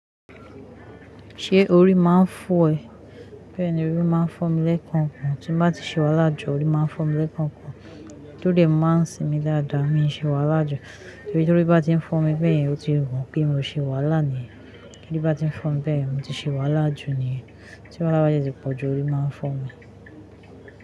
Ṣé orí máa ń fọ́ ẹ? Bẹ́ẹ̀ ni orí máa ń fọ́ mi lẹ́ẹ̀kankan. Tí bá ti ṣe wàhala jú orí máa ń fọ́ mi lẹ́ẹ̀kankan. Tódẹ máa ń sinmi dáadáa, mi ò ṣe wàhálà láàjú. Nítorí tí orí bá tí ń fọ́n mi bẹ́ẹ̀ yẹn ó ti ro pé mi ò ṣe wà láà ni. Kí orí bá ti ń fọ́n mi bẹ́ẹ̀ mi ti ṣe wà láàjú niyẹn. Tí wàhálà bá dẹ ti pọ̀jù orí máa ń fọ́ mi.